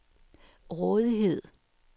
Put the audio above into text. rådighed